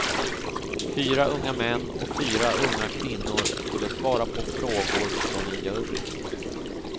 Fyra unga män och fyra unga kvinnor skulle svara på frågor från en jury.